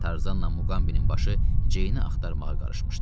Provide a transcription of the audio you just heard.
Tarzanla Muqambinin başı Ceyni axtarmağa qarışmışdı.